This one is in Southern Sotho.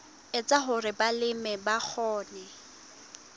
etsa hore balemi ba kgone